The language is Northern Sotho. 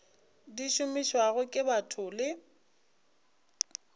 di šomišwago ke batho le